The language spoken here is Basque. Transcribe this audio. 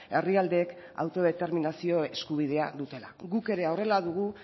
herrialdeek autodeterminazio eskubidea dutela guk ere horrela dugu